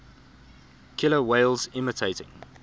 killer whales imitating